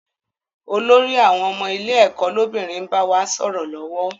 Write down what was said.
Olórí àwọn ọmọ ilé ẹ̀kọ́ lọ́bìnrin n bá wa sọ̀rọ̀ lọ́wọ́